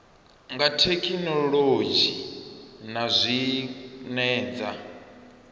dza thekhinolodzhi na zwine dza